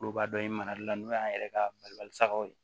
Kuluba dɔ ye marali la n'o y'an yɛrɛ ka sagaw ye